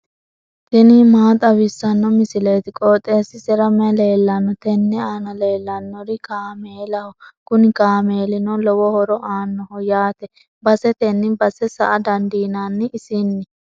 tini maa xawissanno misileeti? qooxeessisera may leellanno? tenne aana leellannori kaameelaho kuni kaameelino lowo horo aannoho yaate basetenni base sa"a dandiinanni isinni.